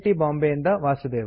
ಬಾಂಬೆಯಿಂದ ವಾಸುದೇವ